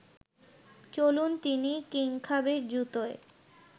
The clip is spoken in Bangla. চলুন তিনি কিংখাবের জুতোয়